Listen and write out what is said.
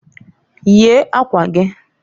Yie akwa giǃ